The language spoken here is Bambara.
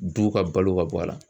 Du ka balo ka bɔ a la.